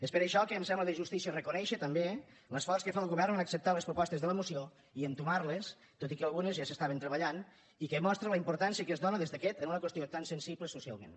és per això que em sembla de justícia reconèixer també l’esforç que fa el govern en acceptar les propostes de la moció i entomar les tot i que algunes ja s’estaven treballant i que mostren la importància que es dóna des d’aquest en una qüestió tan sensible socialment